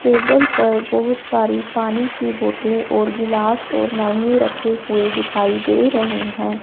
Table पर बहुत सारी पानी की बोतले और गिलास और मेनू रखे हुए दिखाई दे रहे हैं।